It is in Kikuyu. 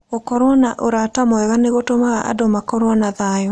Gũkorũo na ũrata mwega nĩ gũtũmaga andũ makorũo na thayũ.